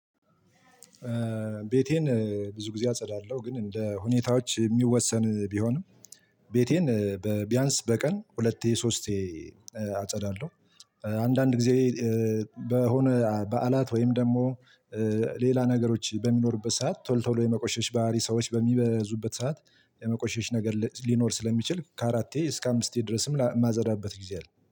ቤቴን ብዙ ጊዜ አጸዳለሁ ግን እንደ ሁኔታዎች ሚወሰን ቢሆንም ቤቴን በ ቢያንስ በቀን ሁለቴ ሶስቴ አጸዳለሁ። አንዳንድ ጊዜ በሆነ በዓላት ወይም ደግሞ ሌላ ነገሮች በሚኖሩበት ሰዓት ቶሎ ቶሎ የመቆሸሽ ባህሪ ሰዎች በሚበዙበት ሰዓት፥ የመቆሸሽ ነገር ሊኖር ስለሚችል ከአራቴ እስከ አምስቴ ድረስም ማጸዳበት ጊዜ አለ።